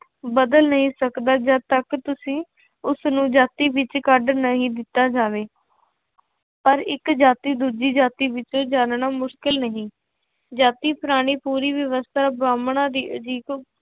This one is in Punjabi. ਬਦਲ ਨਹੀਂ ਸਕਦਾ ਜਦ ਤੱਕ ਤੁਸੀਂ ਉਸਨੂੰ ਜਾਤੀ ਵਿੱਚ ਕੱਢ ਨਹੀਂ ਦਿੱਤਾ ਜਾਵੇ ਪਰ ਇੱਕ ਜਾਤੀ ਦੂਜੀ ਜਾਤੀ ਵਿੱਚੋਂ ਜਾਣਨਾ ਮੁਸ਼ਕਿਲ ਨਹੀਂ, ਜਾਤੀ ਪੁਰਾਣੀ ਪੂਰੀ ਵਿਵਸਥਾ ਬਾਹਮਣਾ ਦੀ